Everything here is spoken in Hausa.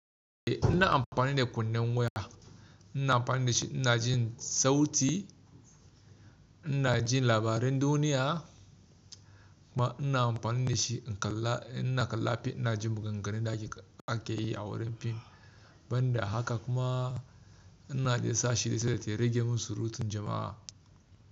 Eh ina amfani da kunnen waya, ina amfani da shi ina jin sauti, ina jin labaran duniya kuma ina amfani da shi ina kalla fim, ina jin maganganun da ake yi a wurin fim. Ban da haka kuma ina ji sa shida sai da ta rage min surutun jama'a.